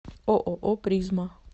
ооо призма